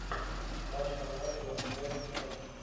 матч команды вест хэм